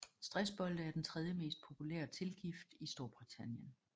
Stressbolde er den tredje mest populære tilgift i Storbritannien